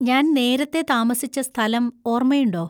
ഞാൻ നേരത്തെ താമസിച്ച സ്ഥലം ഓർമ്മയുണ്ടോ?